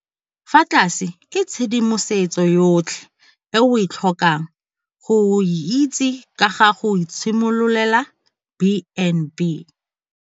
Fa tlase ke tshedimosetso yotlhe e o tlhokang go e itse ka ga go itshimololela B and B.